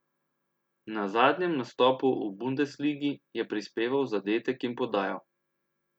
Na zadnjem nastopu v bundesligi je prispeval zadetek in podajo.